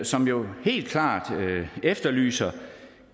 som jo helt klart efterlyser